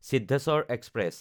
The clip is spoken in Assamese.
সিদ্ধেশ্বৰ এক্সপ্ৰেছ